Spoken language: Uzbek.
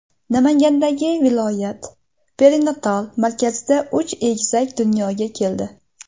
Namangandagi viloyat perinatal markazida uch egizak dunyoga keldi.